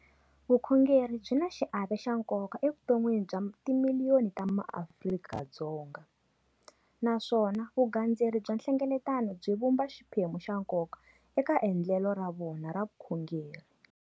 Vukhongeri byi na xiave xa nkoka evuton'wini bya timiliyoni ta maAfrika-Dzonga, naswona vugandzeri bya nhlengeletano byi vumba xiphemu xa nkoka eka endle lo ra vona ra vukhongeri.